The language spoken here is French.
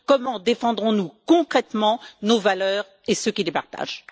Comment défendrons nous concrètement nos valeurs et ceux qui les partagent?